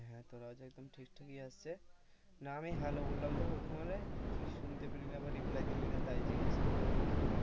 হ্যাঁ তোর আওয়াজ একদম ঠিকঠাকই আসছে, না আমি Hello বললাম তো, প্রথমবারে তুই শুনতে পেলি না বা reply দিলিনা, তাই জিজ্ঞেস করলাম আর কি।